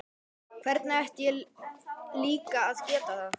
Hvernig ætti ég líka að geta það?